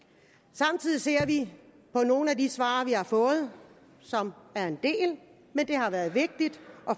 samtidig ser vi i nogle af de svar vi har fået som er en del men det har været vigtigt